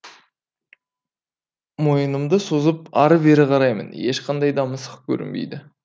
мойынымды созып әрі бері қараймын ешқандай да мысық көрінбейді